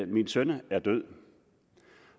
min søn er død